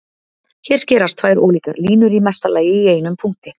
Hér skerast tvær ólíkar línur í mesta lagi í einum punkti.